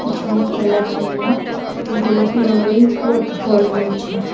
পিছনে খেলার জন্য গোলাপি রঙের কুয়াটফল রয়েছে।